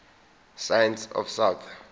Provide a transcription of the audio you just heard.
science of south